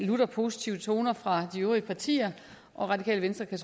lutter positive toner fra de øvrige partier radikale venstre kan